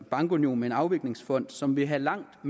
bankunion med en afviklingsfond som vil have langt